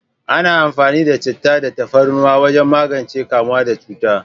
Ana amfani da chittah da tafarnuwa wajen magance kamuwa da cuta.